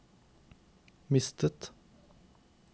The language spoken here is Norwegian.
mistet